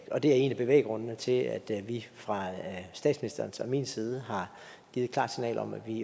og det er en af bevæggrundene til at vi fra statsministerens og min side har givet et klart signal om at vi